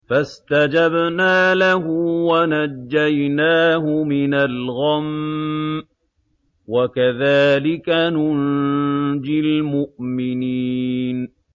فَاسْتَجَبْنَا لَهُ وَنَجَّيْنَاهُ مِنَ الْغَمِّ ۚ وَكَذَٰلِكَ نُنجِي الْمُؤْمِنِينَ